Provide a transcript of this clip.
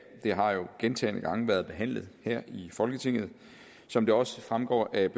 har jo gentagne gange været behandlet her i folketinget som det også fremgår af